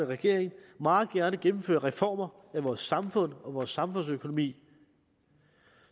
regeringen meget gerne gennemføre reformer af vores samfund og vores samfundsøkonomi